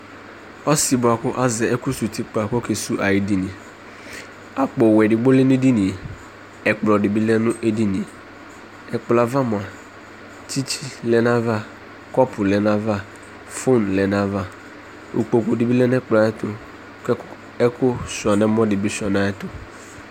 Ɔsɩ bʋa kʋ azɛ ɛkʋsuwu utikpa kʋ ɔkesuwu ayʋ edini Akpowɛ edigbo lɛ nʋ edini yɛ, ɛkplɔ dɩ bɩ lɛ nʋ edini yɛ Ɛkplɔ yɛ ava mʋa, tsɩtsɩ lɛ nʋ ayava, kɔpʋ lɛ nʋ ayava, fon lɛ nʋ ayava kʋ ukpoku dɩ bɩ lɛ nʋ ɛkplɔ yɛ ayɛtʋ kʋ ɛk ɛkʋsʋɩa nʋ ɛmɔ dɩ bɩ sʋɩa nʋ ayɛtʋ